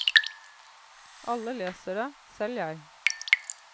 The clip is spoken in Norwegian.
Alle leser det, selv jeg.